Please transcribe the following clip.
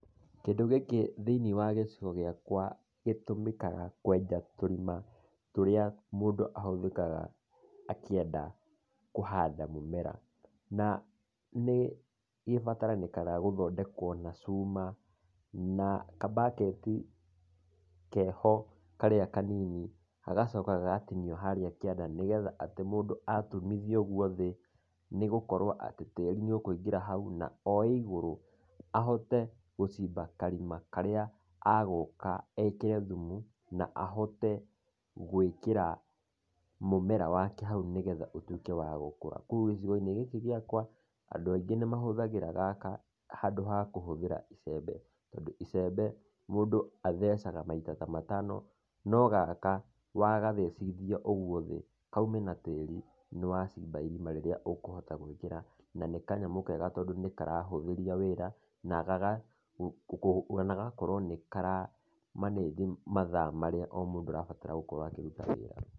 Kĩndũ gĩkĩ thĩiniĩ wa gĩcigo gĩakwa gĩtũmĩkaga kwenja tũrima tũrĩa mũndũ ahũthĩkaga akĩenda kũhanda mũmera, na nĩ gĩbatarĩkanaga gũthondekwo na cuma na kambaketi keho karĩa kanini, hagacoka hagatinio harĩa kĩanda nĩguo atĩ mũndũ atumithia ũguo thĩ, nĩgũkorwo tĩri nĩũkũingĩra hau oe igũrũ, ahote gũcimba karima karĩa egũka ekĩre thumu na ahote gũĩkĩra mũmera wake haũ nĩgetha ũtũĩke wa gũkũra, koguo gĩcigo-inĩ gĩkĩ gĩakwa, andũ aingĩ nĩ mahũthagĩra gaka handũ wa kũhũthĩra igembe, tondũ icembe mũndũ athecaga ta maita matano, no gaka, wagathecithia ũguo thĩ, kaume na tĩri, nĩ wacimba irima rĩrĩa ũkũhota gũĩkĩra, na nĩ kanyamũ kega na karahũthĩria wĩra na gagakorwo nĩ kara manage, mathaa marĩa o-mũndũ arabatara gũkorwo akĩruta wĩra.